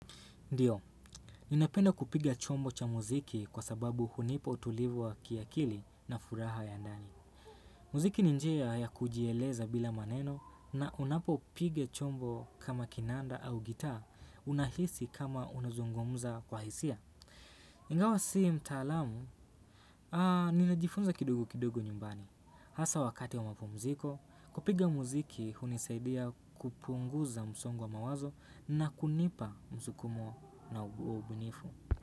Ndiyo, ninapenda kupiga chombo cha muziki kwa sababu hunipa utulivu wa kiakili na furaha ya ndani. Muziki ni njia ya kujieleza bila maneno na unapopiga chombo kama kinanda au gitaa, unahisi kama unazungumza kwa hisia. Ingawa sii mtaalamu, ninajifunza kidogo kidogo nyumbani. Hasa wakati wa mapumuziko, kupiga muziki hunisaidia kupunguza msongo wa mawazo na kunipa msukumo na ubunifu.